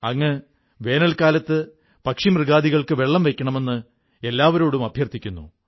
അങ്ങ് വേനൽക്കാലത്ത് പക്ഷിമൃഗാദികൾക്ക് വെള്ളം വെയ്ക്കണമെന്ന് എല്ലാവരോടും അഭ്യർഥിക്കുന്നു